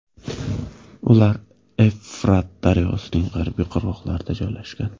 Ular Evfrat daryosining g‘arbiy qirg‘oqlarida joylashgan.